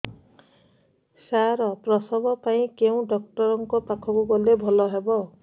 ସାର ପ୍ରସବ ପାଇଁ କେଉଁ ଡକ୍ଟର ଙ୍କ ପାଖକୁ ଗଲେ ଭଲ ହେବ